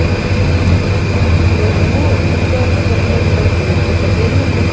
তো একটু উঠ, তুই তো football টুটবল বিকালে খেলিস? তো খেলতে যাবি না আজকে?